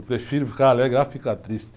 Eu prefiro ficar alegre à ficar triste.